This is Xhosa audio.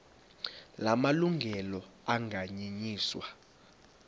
la malungelo anganyenyiswa